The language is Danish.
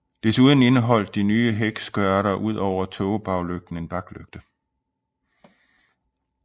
Desuden indeholdt de nye hækskørter ud over tågebaglygten en baklygte